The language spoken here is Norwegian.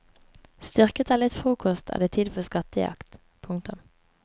Styrket av litt frokost er det tid for skattejakt. punktum